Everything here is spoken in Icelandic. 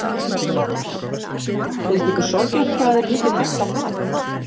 Heimir Már: Finnst ykkur sorglegt hvað er mikið hent af mat?